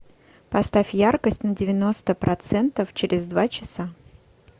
поставь яркость на девяносто процентов через два часа